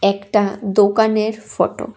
একটা দোকানের ফটো ।